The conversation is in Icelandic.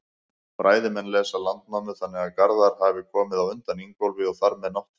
Fræðimenn lesa Landnámu þannig að Garðar hafi komið á undan Ingólfi og þar með Náttfari.